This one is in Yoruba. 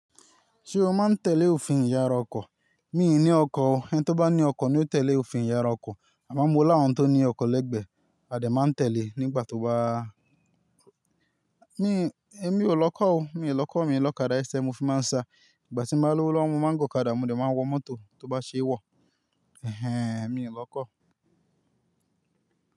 Se o ma tele ofin ìyara ọkọ̀? Mi ni ọkọ̀ o, ẹni tí ó bá ní ọkọ̀ ni o tele ofin ìyara ọkọ̀. Àmọ́ mo ni àwọn tó ní ọkọ̀ lẹ́gbẹ̀ẹ́, a dẹ̀ máa ń tẹle nígbà tó bá Mi, èmi ò lọkọ́ o, mi ò lọkọ̀, mi ò lọ̀kadà ẹsẹ̀ mo fi máa ń sa. Ìgbà tí mo bá lówó lọ mo maa n gun ọ̀kadà mo dẹ̀ máa n wọ mọ́tò tó bá ṣe é wọ̀. Ẹhẹ́n, mi ò lọkọ́.